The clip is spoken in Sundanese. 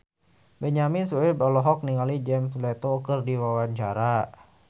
Benyamin Sueb olohok ningali Jared Leto keur diwawancara